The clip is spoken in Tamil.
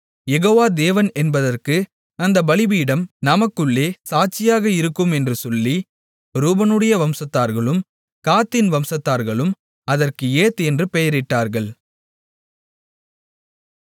யெகோவா தேவன் என்பதற்கு அந்த பலிபீடம் நமக்குள்ளே சாட்சியாக இருக்கும் என்று சொல்லி ரூபனுடைய வம்சத்தார்களும் காத்தின் வம்சத்தார்களும் அதற்கு ஏத் என்று பெயரிட்டார்கள்